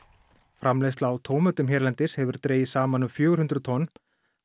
framleiðsla á tómötum hérlendis hefur dregist saman um fjögur hundruð tonn á